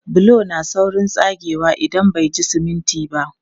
Bulo na saurin tsagewa idan bai ji siminti ba.